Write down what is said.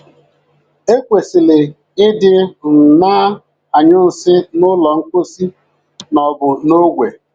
E kwesịrị ịdị um na - anyụ nsị n’ụlọ mposi ma ọ bụ n’ogwe.